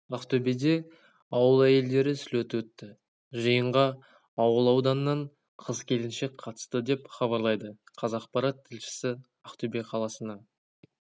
ақтөбеде ауыл әйелдері слеті өтті жиынға ауыл ауданнан қыз-келіншек қатысты деп хабарлайды қазақпарат тілшісі ақтөбе қаласына